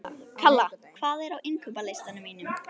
Kalla, hvað er á innkaupalistanum mínum?